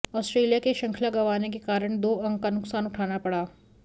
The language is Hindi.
आस्ट्रेलिया के शृंखला गंवाने के कारण दो अंक का नुकसान उठाना पड़ा